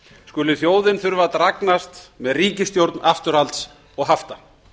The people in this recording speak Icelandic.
skuli þjóðin þurfa að dragnast með ríkisstjórn afturhalds og hafta